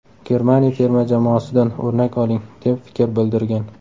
Germaniya terma jamoasidan o‘rnak oling”, deb fikr bildirgan .